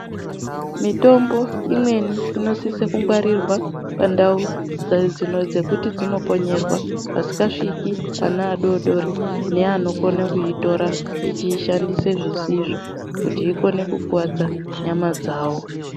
Mitombo imweni inosisa kungwarirwa pandau pekuti dzinokonyerwa Pasingasviki vana vadodori nevanoitora vachiishandisa vachiishandisa zvisizvo kukuwadza nyama dzawo.